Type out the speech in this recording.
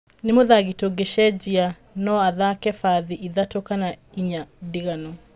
Nĩ mũthaki tũngĩcejiacejia, no athake bathi ithatũ kana inya ndiganu